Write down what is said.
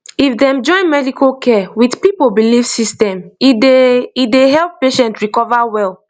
if dem join medical care with people belief system e dey e dey help patient recover well